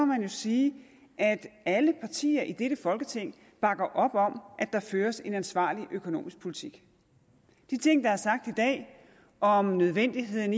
man jo sige at alle partier i dette folketing bakker op om at der føres en ansvarlig økonomisk politik de ting der er sagt i dag om nødvendigheden